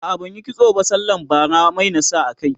a'a ban Yi kitso sallan bara ba Mai na sa a kai